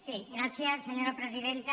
sí gràcies senyora presidenta